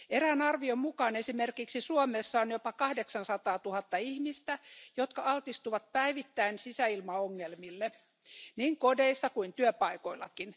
Erään arvion mukaan esimerkiksi Suomessa on jopa kahdeksansataatuhatta ihmistä, jotka altistuvat päivittäin sisäilmaongelmille niin kodeissa kuin työpaikoillakin.